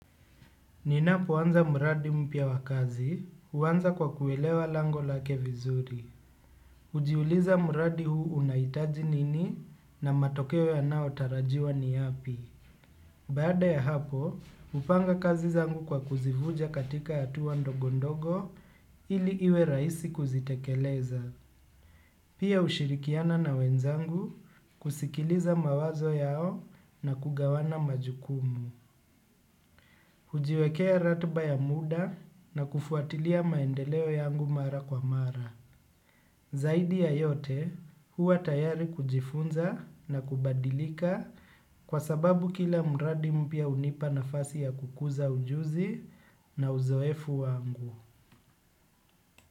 Ninapoanza muradi mpya wakazi, huwanza kwa kuelewa lango lake vizuri. Hujiuliza muradi huu unahitaji nini na matokeo yanao tarajiwa ni yapi. Baada ya hapo, hupanga kazi zangu kwa kuzivunja katika hatuwa ndogondogo ili iwe rahisi kuzitekeleza. Pia hushirikiana na wenzangu kusikiliza mawazo yao na kugawana majukumu. Hujiwekea ratiba ya muda na kufuatilia maendeleo yangu mara kwa mara. Zaidi ya yote huwa tayari kujifunza na kubadilika kwa sababu kila muradi mpya hunipa nafasi ya kukuza ujuzi na uzoefu wangu.